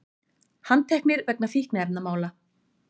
Handteknir vegna fíkniefnamála